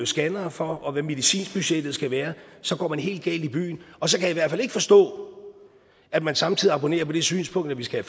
scannere for og hvad medicinbudgettet skal være så går man helt galt i byen og så kan jeg i hvert fald ikke forstå at man samtidig abonnerer på det synspunkt at vi skal